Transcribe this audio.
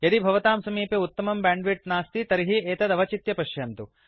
यदि भवतां समीपे उत्तमं बैण्डविड्थ नास्ति तर्हि एतत् अवचित्य पश्यन्तु